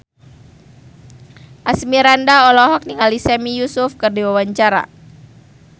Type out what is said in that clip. Asmirandah olohok ningali Sami Yusuf keur diwawancara